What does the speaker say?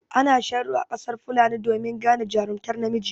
Ana sharo a ƙasar fulani domin gane jarumtar namiji.